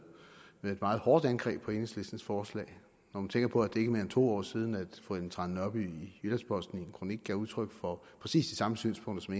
med et meget hårdt angreb på enhedslistens forslag når man tænker på at det ikke er mere end to år siden at fru ellen trane nørby i jyllands posten i en kronik gav udtryk for præcis de samme synspunkter som